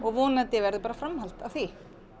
vonandi verður bara framhald af því